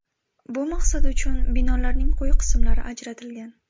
Bu maqsad uchun binolarning quyi qismlari ajratilgan.